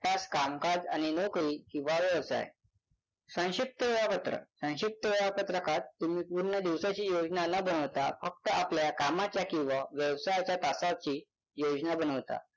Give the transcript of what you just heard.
तास कामकाज आणि नोकरी किंवा व्यवसाय संक्षिप्त वेळापत्रक संक्षिप्त वेळापत्रकात तुम्ही पूर्ण दिवसाची योजना न बनवता फक्त आपल्या कामाच्या किंवा व्यवसायाच्या तासांची योजना बनवता